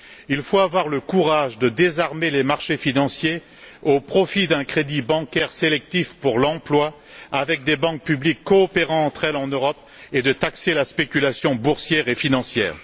Il faut avoir le courage de désarmer les marchés financiers au profit d'un crédit bancaire sélectif pour l'emploi, avec des banques publiques coopérant entre elles en Europe, et de taxer la spéculation boursière et financière.